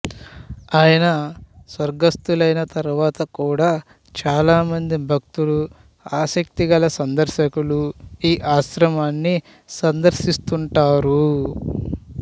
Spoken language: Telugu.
ఆయన స్వర్గస్తులయిన తరువాత కూడా చాలా మంది భక్తులు ఆసక్తి గల సందర్శకులు ఈ ఆశ్రమాన్ని సందర్శిస్తుంటారు